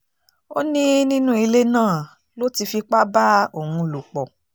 ó ní nínú ilé náà ló ti fipá bá òun lò pọ̀